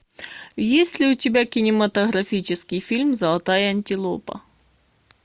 есть ли у тебя кинематографический фильм золотая антилопа